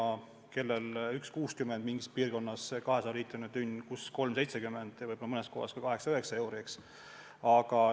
Mingis piirkonnas on 1.60 see 200-liitrine tünn, kuskil 3.70 ja võib-olla mõnes kohas ka 8–9 eurot.